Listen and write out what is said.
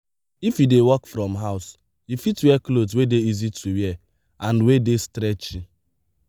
if you dey work from house you fit wear cloth wey dey easy to wear and wey dey stretchy